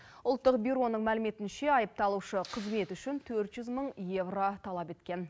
ұлттық бюроның мәліметінше айыпталушы қызметі үшін төрт жүз мың евро талап еткен